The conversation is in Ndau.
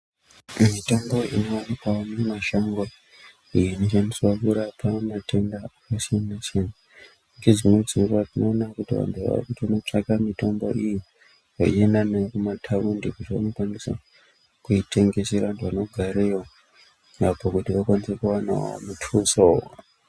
Mitombo inowanikwawo mumashango, inoshandiswa kurape matenda akasiyan-siyana ngedzimweni dzenguva tinoona kuti vantu vaakutsvake mitombo iyi veienda nayo kumathaundi kuti vanokwanisa kuitengesera vantu vanogareyo makoronyera okwanisa kuwanawo muthuso.